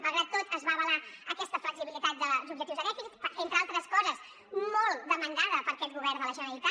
malgrat tot es va avalar aquesta flexibilitat dels objectius de dèficit entre altres coses molt demandada per aquest govern de la generalitat